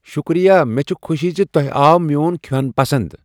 شکریہ ! مےٚ چھےٚ خوشی زِ تۄہہ آو میون کھین پسند۔